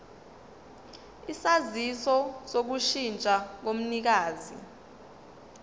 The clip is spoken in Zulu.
isaziso sokushintsha komnikazi